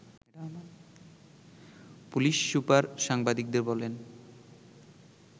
police super সাংবাদিকদের বলেন